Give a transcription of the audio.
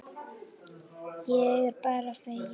Ég er bara feginn.